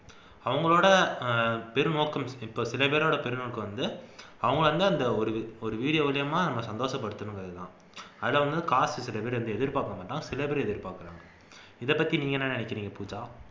அவங்களோட பெரு நோக்கம் இப்ப சிலபேரோட பெருநோக்கம் வந்து அவங்க வந்து ஒரு video மூலமா நம்மை சந்தோசப்படுத்தனும்கிறதுதான் அதுல வந்து காசு சில video ல எதிர்பார்க்க மாட்டோம் சிலபேர் எதிர்பார்க்கிறாங்க இதைப்பத்தி நீங்க என்ன நினைக்கிறீங்க பூஜா